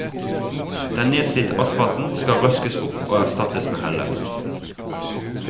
Den nedslitte asfalten skal røskes opp og erstattes med heller.